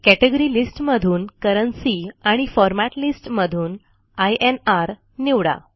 category list मधून currency आणि format list मधून इन्र निवडा